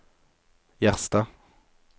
Gjerstad